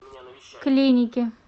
клиники